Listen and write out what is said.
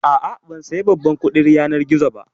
A'a, ban saya babban kuɗin yanar gizo yau ba